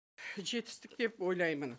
жетістік деп ойлаймын